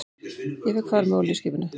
Ég fékk far með olíuskipinu